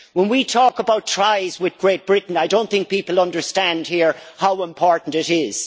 When we talk about ties with Great Britain I don't think people understand here how important it is.